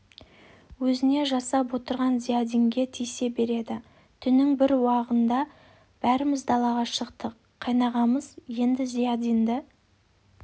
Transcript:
өзіне жасап отырған зиядинге тиісе береді түннің бір уағында бәріміз далаға шықтық қайнағамыз енді зиядинді